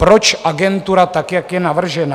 Proč agentura tak, jak je navržena?